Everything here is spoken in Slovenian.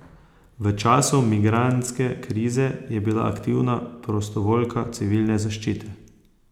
V času migrantske krize je bila aktivna prostovoljka civilne zaščite.